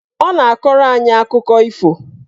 Ọ na-akọrọ anyị akụkọ ifo.